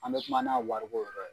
An bɛ kuma n'a wariko yɔrɔ ye.